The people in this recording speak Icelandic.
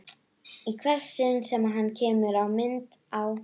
Í hvert sinn sem hann kemur í mynd á